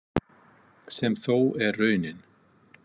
Sem þó er raunin.